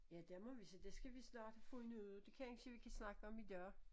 Ja der må vi der skal vi have fundet ud det kansje vi kan snakke om i dag